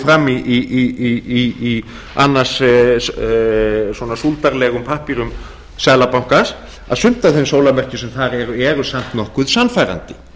fram í annars svona súldarlegum pappírum seðlabankans að sumt af þeim sólarmerkjum sem þar eru eru samt nokkuð sannfærandi